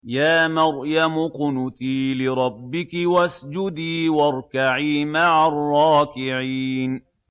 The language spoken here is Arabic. يَا مَرْيَمُ اقْنُتِي لِرَبِّكِ وَاسْجُدِي وَارْكَعِي مَعَ الرَّاكِعِينَ